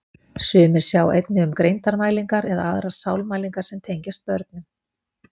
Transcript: Sumir sjá einnig um greindarmælingar eða aðrar sálmælingar sem tengjast börnum.